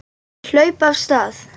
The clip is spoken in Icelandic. Þeir hlupu af stað.